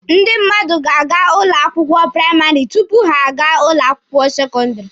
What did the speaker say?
Ndị mmadụ ga-aga ụlọ akwụkwọ praịmarị tupu ha a gaa ụlọ akwụkwọ sekọndịrị.